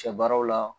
Sɛ baaraw la